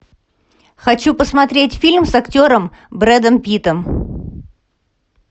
хочу посмотреть фильм с актером брэдом питтом